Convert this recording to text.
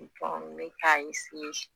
n bɛ k'a